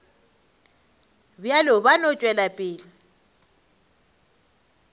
bjalo ba no tšwela pele